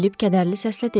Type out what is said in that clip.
Filip kədərli səslə dedi.